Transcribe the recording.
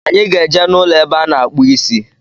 Anyị ga-eje n'ụlọ ebe a na-akpụ isi